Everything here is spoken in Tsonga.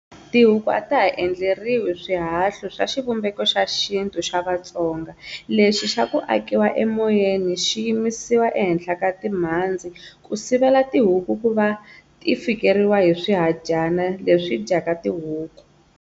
"Tihuku a ta ha endleriwi swihahlu swa xivumbeko xa xintu xa Vatsonga lexi xa ku akiwa emoyeni xi yimisiwa ehenhla ka timhandzi ku sivela tihuku ku va ti fikeriwa hi swihadyana leswi dyaka tihuku."